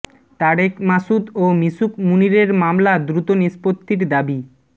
তারেক মাসুদ ও মিশুক মুনীরের মামলা দ্রুত নিষ্পত্তির দাবি